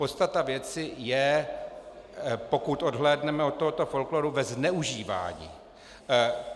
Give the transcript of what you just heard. Podstata věci je, pokud odhlédneme od tohoto folkloru, ve zneužívání.